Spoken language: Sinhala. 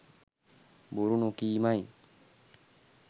බොරු නොකීමයි.